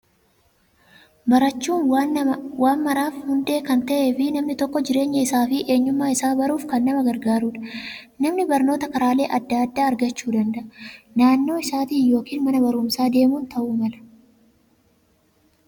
Barachuun waan maraaf hundeen kan ta'ee fi namni tokko jireenya isaa fi eenyummaa isaa baruuf kan nama gargaarudha. Namni barnoota karaalee adda addaa argachuu danda'a. Naannoo isaaniitti yookiin mana barumsaa deemuun ta'uu mala